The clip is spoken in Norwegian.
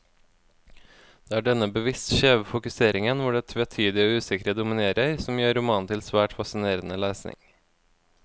Det er denne bevisst skjeve fokuseringen, hvor det tvetydige og usikre dominerer, som gjør romanen til svært fascinerende lesning.